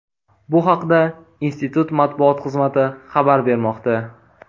Bu haqda institut matbuot xizmati xabar bermoqda.